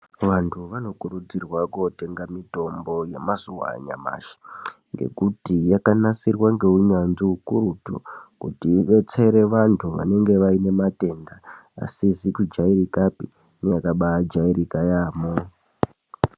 Vantu vanokurudzirwa kotenga mitombo yemazuva anyamashi ngekuti yakanasirwa nehunyanzvi ukurutu kuti idetsere vantu vanenge vane matenda asizi kujairikapi neakajairika yaamho.